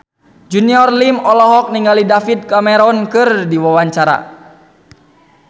Junior Liem olohok ningali David Cameron keur diwawancara